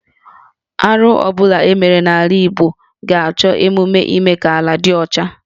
Arụ ọ bụla e mere n’ala Igbo ga-achọ emume ime ka ala dị ọcha